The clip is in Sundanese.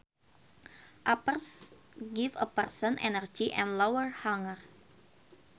Uppers give a person energy and lower hunger